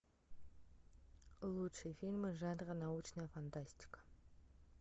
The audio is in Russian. лучшие фильмы жанра научная фантастика